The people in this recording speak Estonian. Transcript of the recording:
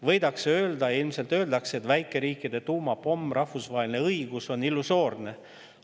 Võidakse öelda ja ilmselt öeldaksegi, et väikeriikide tuumapomm, rahvusvaheline õigus, on illusoorne.